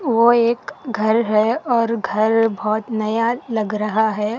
ओ एक घर है और घर बहुत नया लग रहा है।